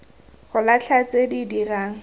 go latlha tse di dirang